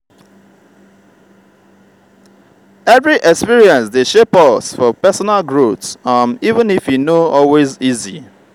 every experience dey shape us for personal growth um even if e no always easy.